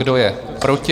Kdo je proti?